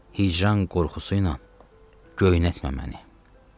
Hicran qorxusuyla göynətmə məni.